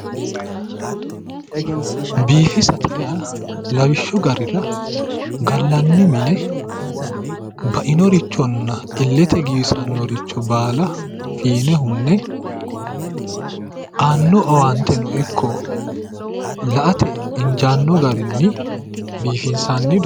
Biifisate yaa lawishshu garira gallanni mine bainorichonna illete giwisannoricho baala fiine hunne aanno owaanteno ikko la'ate injaanno garinni biifinsanni doogo.